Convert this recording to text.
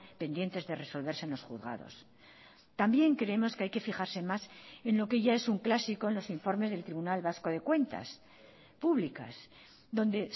pendientes de resolverse en los juzgados también creemos que hay que fijarse más en lo que ya es un clásico en los informes del tribunal vasco de cuentas públicas donde